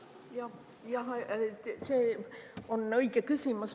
Jah, see on õige küsimus.